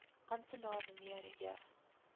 amptenaar mnr j